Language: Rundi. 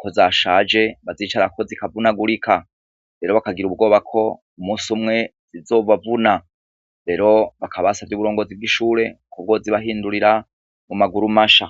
kozashaje bazicarako zikavunagurika rero bakagira ubwoba ko umunsi umwe zizobavuna rero bakaba basavye ubuyobozi bwishure ko bozibahindurira mumaguru masha